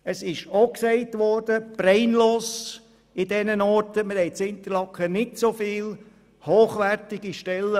Es wurde auch gesagt, in Interlaken hätten wir ausserhalb des Tourismus nicht viele hochwertige Stellen.